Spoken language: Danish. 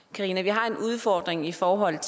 karina vi har en udfordring i forhold